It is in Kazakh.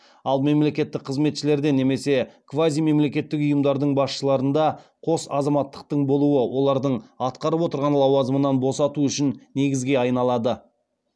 ал мемлекеттік қызметшілерде немесе квазимемлекеттік ұйымдардың басшыларында қос азаматтықтың болуы олардың атқарып отырған лауазымнан босату үшін негізге айналады